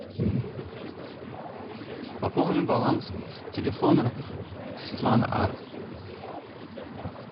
пополни баланс телефона светлана а